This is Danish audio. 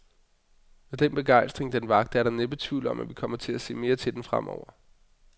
Med den begejstring, den vakte, er der næppe tvivl om, at vi kommer til at se mere til den fremover.